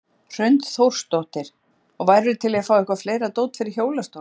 Hrund Þórsdóttir: Og værirðu til í að fá eitthvað fleira dót fyrir hjólastóla?